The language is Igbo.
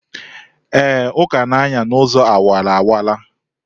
Ee, Uka na-anya n'ụzọ awara awara.